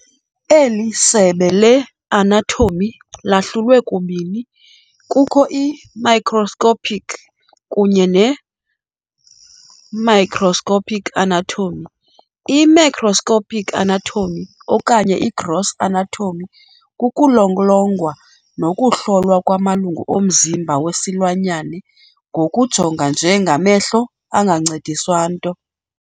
Eli sebe le-anatomy lahlulwe kubini kukho i-macroscopic kunye ne microscopic anatomy. I-Macroscopic anatomy, okanye i-gross anatomy, kukulolongwa nokuhlolwa kwamalungu omzimba wesilwanyana ngokujonga nje ngamehlo engancediswa nto.